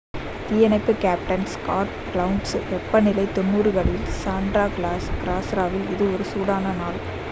"""தீயணைப்பு captain Scott கௌன்ஸ் """வெப்பநிலை 90களில் சாண்டா கிளாராவில் இது ஒரு சூடான நாள்.""""